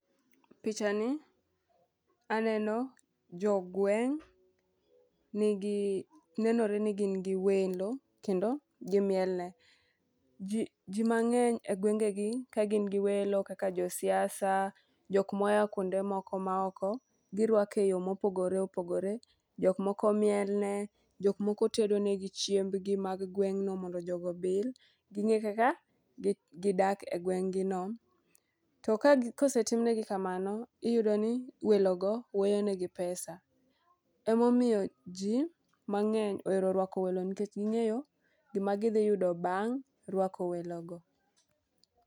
picha ni aneno jogweng' nigi nenore ni gin gi welo kendo gimiel ne. Jii jii mang'eny e gwengegi ka gin gi welo kaka jo siasa , jok moya kuonde moko maoko girwake yoo mopogore opogore , jok moko miel ne jok moko tedonegi chiembgi mag gweng'no mondo jogo obil, ging'e kaka gidak e gweng' gino .To kosetim ne gi kamano iyudo ni welo go weyone gi pesa .Emomiyo jii mang'eny ohero rwako welo nikech ging'eyo gima gidhi yudo bang' rwako welo go.